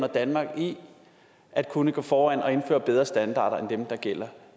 danmark i at kunne gå foran og indføre bedre standarder end dem der gælder